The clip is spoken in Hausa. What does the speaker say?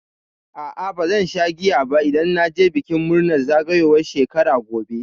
A'a bazan sha giya ba idan na je bikin murnar zagayowar shekara gobe.